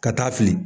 Ka taa fili